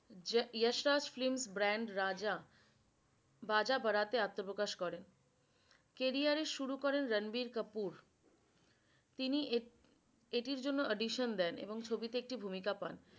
Yash Raj film brand raja baja barat এ আত্মপ্রকাশ করেন। career শুরু করেন রণবীর কাপুর। তিনি এটির জন্য audition দেন এবং ছবিতে একটি ভূমিকা পান।